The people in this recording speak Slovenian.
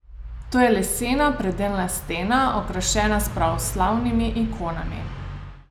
To je lesena predelna stena, okrašena s pravoslavnimi ikonami.